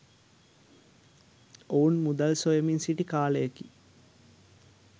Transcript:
ඔවුන් මුදල් සොයමින් සිිටි කාලයකි.